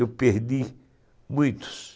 Eu perdi muitos.